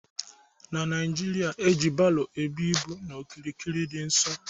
N'Naijiria, e ji baro ebu ịbụ n'okirikiri dị nso